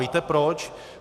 Víte proč?